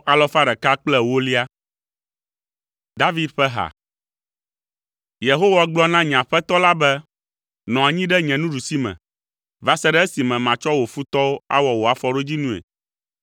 David ƒe ha. Yehowa gblɔ na nye Aƒetɔ la be, “Nɔ anyi ɖe nye nuɖusime, va se ɖe esime matsɔ wò futɔwo awɔ wò afɔɖodzinui.”